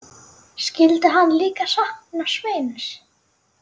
Skyldi hann líka sakna Sveins?